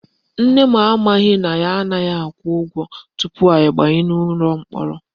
Nne m amaghị na anaghị akwụ ụgwọ tupu abanye ụlọ mkpọrọ